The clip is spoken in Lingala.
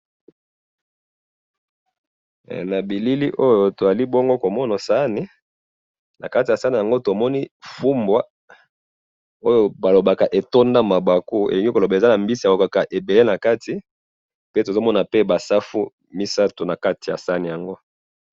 he na bilili oyo bongo tozali komona sahani nakati ya sahani yango tomoni fumbwa oyo balobaka etonda mabaku ezali koloba ezalina bambisi nakati pe toye komona ba safu misatu na kati ya sahani yango